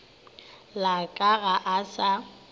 la ka ga a sa